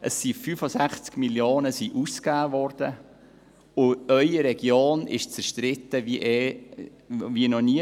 Es wurden 65 Mio. Franken ausgegeben, und Ihre Region ist in dieser Frage zerstritten wie noch nie.